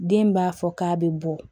Den b'a fɔ k'a bɛ bɔ